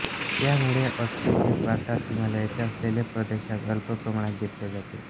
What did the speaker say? त्यामुळे ओटचे पीक भारतात हिमालयाच्या असलेल्या प्रदेशांत अल्प प्रमाणात घेतले जाते